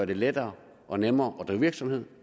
det lettere og nemmere at drive virksomhed